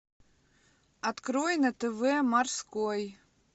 открой на тв морской